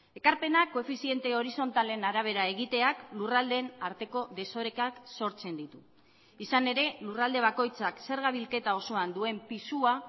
ekarpenak koefiziente horizontalen arabera egiteak lurraldeen arteko desorekak sortzen ditu izan ere lurralde bakoitzak zerga bilketa osoan duen pisua